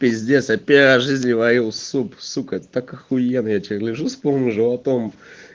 пиздец я в первый раз в жизни варил суп сука это так ахуенно я теперь лежу с полным животом